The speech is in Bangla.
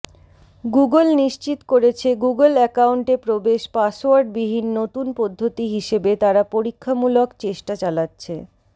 গুগল নিশ্চিত করেছে গুগল অ্যাকাউন্টে প্রবেশ পাসওয়ার্ড বিহীন নতুন পদ্ধতি হিসেবে তারা পরীক্ষামূলক চেষ্টা চালাচ্ছে